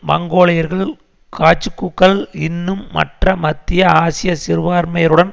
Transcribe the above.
மங்கோலியர்கள் காஜூக்கூக்கள் இன்னும் மற்ற மத்திய ஆசிய சிறுபான்மையினருடன்